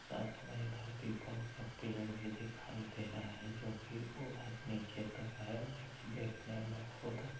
साथ में इधर पीपल का पेड़ भी दिखाई दे रहा है जो कि नीचे तक है देखन देखने में बहोत अ --